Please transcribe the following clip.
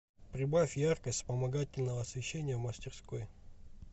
прибавь яркость вспомогательного освещения в мастерской